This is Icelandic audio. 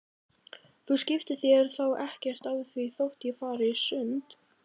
Þú skiptir þér þá ekkert af því þótt ég fari í sund?